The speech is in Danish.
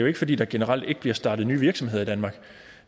ikke fordi der generelt ikke bliver startet nye virksomheder i danmark